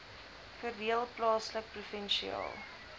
verdeel plaaslik provinsiaal